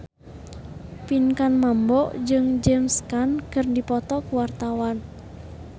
Pinkan Mambo jeung James Caan keur dipoto ku wartawan